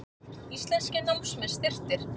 Íslenskir námsmenn styrktir